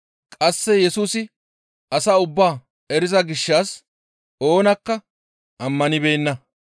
Qasse Yesusi asaa ubbaa eriza gishshas oonakka ammanibeenna.